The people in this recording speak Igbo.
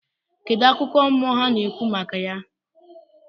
Kedu akụkọ mmụọ ha na-ekwu maka ya?